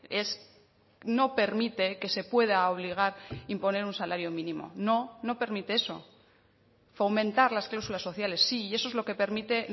es no permite que se pueda obligar imponer un salario mínimo no no permite eso fomentar las cláusulas sociales sí y eso es lo que permite